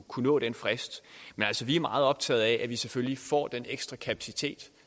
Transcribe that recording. kunne nå den frist men vi er meget optaget af at vi selvfølgelig får den ekstra kapacitet